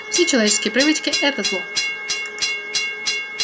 все человеческие привычки это зло